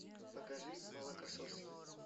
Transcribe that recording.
покажи молокососы